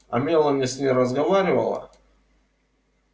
а мелани с ней разговаривала